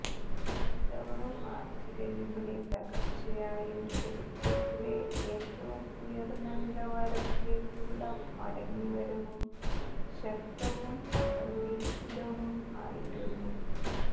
ഇത്തവണ മാര്ച്ചിലെ വിപണി തകര്ച്ചയും ചരിത്രത്തിലെ ഏറ്റവും ഉയര്ന്ന നിലവാരത്തിലേക്കുള്ള മടങ്ങിവരവും ശക്തവും അപ്രതീക്ഷിതവും ആയിരുന്നു